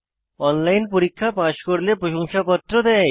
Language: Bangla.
অনলাইন পরীক্ষা পাস করলে প্রশংসাপত্র দেয়